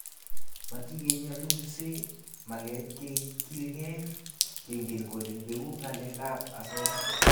Matikenyalulse ,magat kegilgei kengen kole peku ng'alek ab asoya